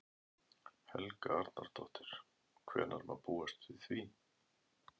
Helga Arnardóttir: Hvenær má búast við því?